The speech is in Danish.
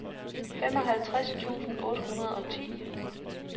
femoghalvtreds tusind otte hundrede og ti